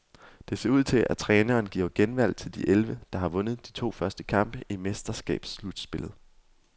Det ser ud til, at træneren giver genvalg til de elleve, der har vundet de to første kampe i mesterskabsslutspillet.